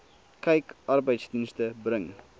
kyk arbeidsdienste bring